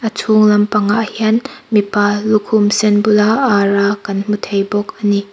a chhûng lampangah hian mipa lukhum sen khum bula ara kan hmu thei bawk a ni.